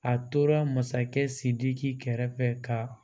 A tora masakɛ sidiki kɛrɛfɛ ka